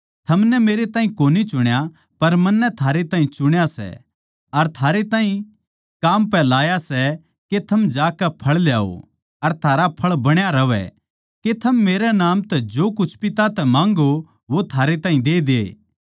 थमनै मेरै ताहीं कोनी चुण्या पर मन्नै थारै ताहीं चुण्या सै अर थारैताहीं काम पै लाया सै के थम जाकै फळ ल्याओ अर थारा फळ बणा रहवै के थम मेरै नाम तै जो कुछ पिता तै माँग्गो वो थारै ताहीं दे दे